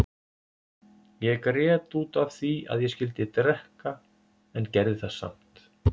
Ég grét út af því að ég skyldi drekka en gerði það samt.